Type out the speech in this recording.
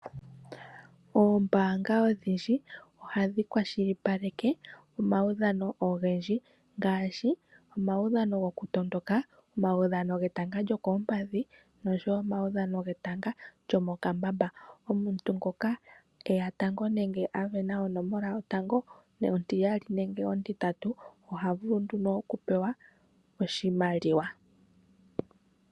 Oombaanga odhindji ohadhi kwashilipaleke omaudhano ogendji ngaashi omaudhano goku tondoka, omaudhano getanga lyo koompadhi nosho wo oamudhano getanga lyo mokambamba. Omuntu ngoka eya tango nenge amona onomola yotango nontiyali nenge ontintatu oha vulu nduno oku pewa oshimaliwa